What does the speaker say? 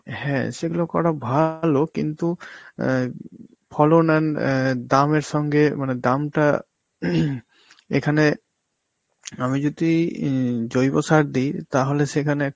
হ্যাঁ সেগুলো করা ভালো কিন্তু অ্যাঁ ফলন and অ্যাঁ দামের সঙ্গে মানে দামটা এখানে, আমি যদি এই জৈব সার দি তাহলে সেখানে